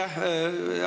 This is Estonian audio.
Aitäh!